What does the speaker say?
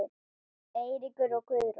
Eiríkur og Guðrún.